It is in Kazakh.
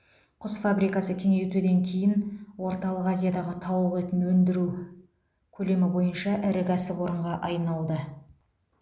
құс фабрикасы кеңейтуден кейін орталық азиядағы тауық етін өндіру көлемі бойынша ірі кәсіпорынға айналды